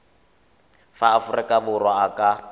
wa aforika borwa a ka